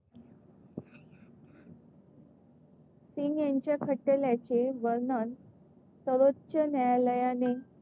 सिंग यांच्या खटल्याचे वर्णन सर्वोच्च न्यायालयाने,